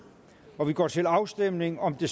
og vi går til afstemning om det